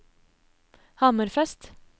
Hammerfest